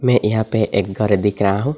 ये यहां पे एक घर दिख रहा हो।